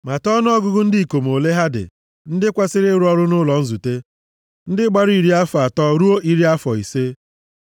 Mata ọnụọgụgụ ndị ikom ole ha dị, ndị kwesiri ịrụ ọrụ nʼụlọ nzute, ndị gbara iri afọ atọ ruo iri afọ ise.